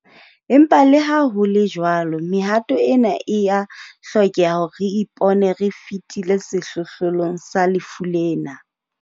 Empa le ha ho le jwalo, mehato ena e a hlokeha hore re ipone re fetile sehlohlolong sa lefu lena.